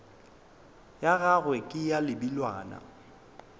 ya gagwe ke ya lebelwana